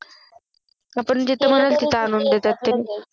आपण जिथे म्हणू तिथे आणून देता ते